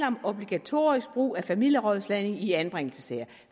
om obligatorisk brug af familierådslagning i anbringelsessager